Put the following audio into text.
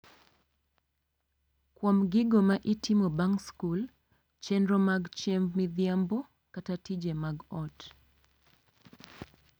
Kuom gigo ma itimo bang' skul, chenro mag chiemb midhiambo, kata tije mag ot,